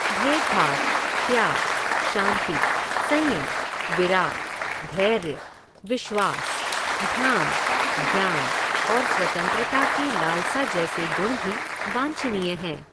भेदभाव, त्याग, शांति, संयम, विराग, धैर्य, विश्वास, ध्यान, ज्ञान और स्वतंत्रता की लालसा जैसे गुण भी वांछनीय हैं।